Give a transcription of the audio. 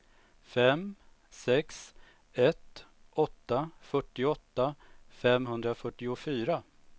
fem sex ett åtta fyrtioåtta femhundrafyrtiofyra